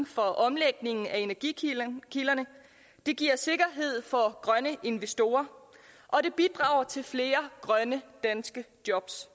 for omlægningen af energikilderne det giver sikkerhed for grønne investorer og det bidrager til flere grønne danske jobs